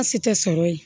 Baasi tɛ sɔrɔ yen